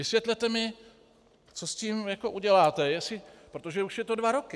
Vysvětlete mi, co s tím uděláte, protože už to jsou dva roky.